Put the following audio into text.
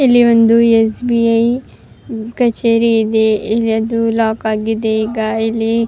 ಇಲ್ಲಿ ಒಂದು S B I ಕಚೇರಿ ಇದೆ ಇಲ್ಲಿ ಅದು ಲಾಕ್ ಆಗಿದೆ ಈಗ ಇಲ್ಲಿ--